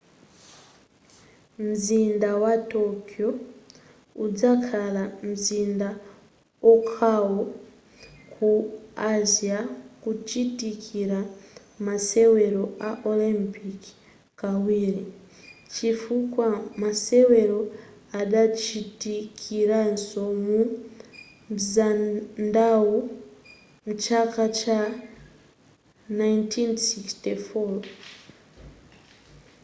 mzinda wa tokyo uzakhala mzinda okhawo ku asia kuchitikira masewero a olympic kawiri chifukwa masewero adachitikiraso mu mzindawu mchaka cha 1964